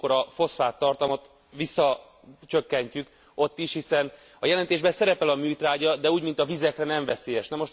Amikor a foszfáttartalmat csökkentjük ott is, hiszen a jelentésben szerepel a műtrágya, de úgy, mint a vizekre nem veszélyes.